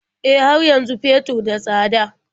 E, har yanzu fetur da tsada.